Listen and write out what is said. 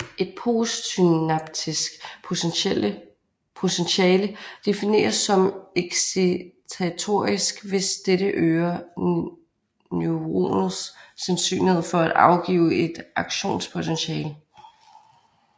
Et postsynaptisk potentiale defineres som excitatorisk hvis dette øger neuronets sandsynlighed for at afgive et aktionspotentiale